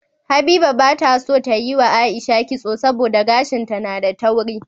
Habiba bata so tayi wa aisha kitso saboda gashin ta na da tauri